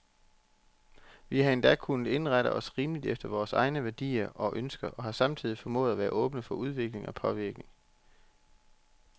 Vi har endda kunnet indrette os rimeligt efter vore egne værdier og ønsker, og har samtidig formået at være åbne for udvikling og påvirkning.